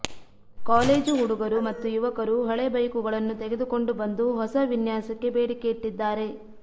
college ಹುಡುಗರು ಮತ್ತು ಯುವಕರು ಹಳೆ ಬೈಕುಗಳನ್ನು ತೆಗೆದುಕೊಂಡು ಬಂದು ಹೊಸ ವಿನ್ಯಾಸಕ್ಕೆ ಬೇಡಿಕೆಯಿಟ್ಟಿದ್ದಾರೆ